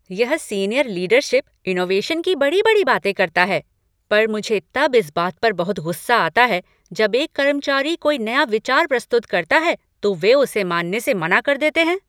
यह senior leadership innovation की बड़ी बड़ी बातें करता है पर मुझे तब इस बात पर बहुत गुस्सा आता है जब एक कर्मचारी कोई नया विचार प्रस्तुत करता है, तो वे उसे मनाने से मना कर देते हैं।